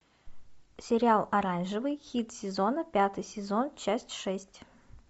сериал оранжевый хит сезона пятый сезон часть шесть